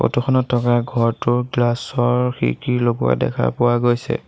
Photo খনত থকা ঘৰটোত গ্লাছৰ খিৰিকী লগোৱা দেখা পোৱা গৈছে।